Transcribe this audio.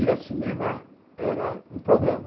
Ir ao cinema era um programa.